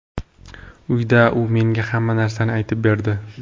Uyda u menga hamma narsani aytib berdi.